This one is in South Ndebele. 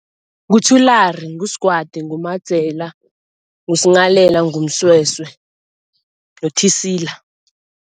NguThulari, nguSigwadi, nguMadzela, nguSinghalela, nguMsweswe noThisila.